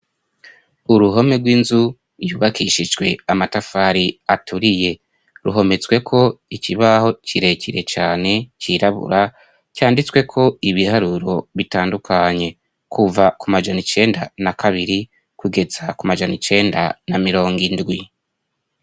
Uruhome rw'inzu yubakishijwe amatafari aturiye ruhometsweko ikibaho kirekire cane cirabura canditsweko ibiharuro bitandukanye kuva kumajan'icenda na kabiri kugeza kumajan'icenda na mirongo indwi.